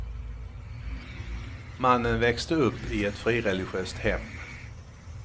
Mannen växte upp i ett frireligiöst hem.